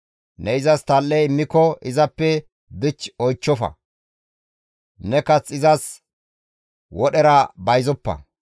Ne izas tal7e immiko izappe dich oychchofa; ne kath izas wodhera bayzoppa.